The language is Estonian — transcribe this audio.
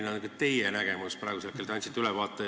Milline on teie nägemus praegusel hetkel?